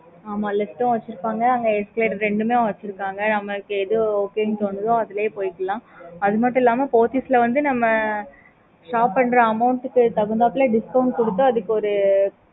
okay mam